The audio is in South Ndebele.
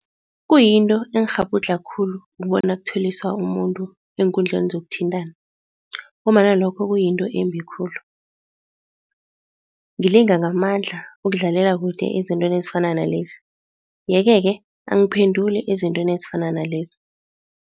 Kuyinto engikghabhudlha khulu ukubona ukutheliswa umuntu eenkundleni zokuthintana ngombana lokho kuyinto embi khulu. Ngilinga ngamandla ukudlalela kude ezintweni ezifana nalezi, yeke-ke angiphenduli ezintweni ezifana nalezi.